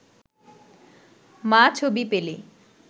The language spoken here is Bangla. মা ছবি পেলে